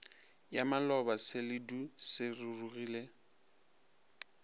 ya maloba seledu se rurugile